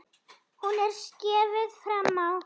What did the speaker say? Hún er skeifu framan á.